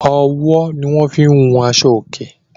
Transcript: owó ní wón fín hùn Aṣọ oke